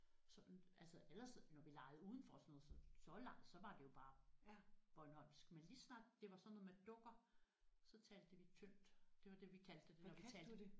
Så altså ellers når vi legede udenfor og sådan noget så så leg så var det jo bare bornholmsk men lige så snart det var sådan noget med dukker så talte vi tyndt det var det vi kaldte det når vi talte